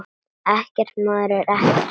Ekkert, maður, ekkert.